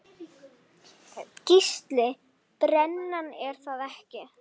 Gísli:. brennan er það ekki?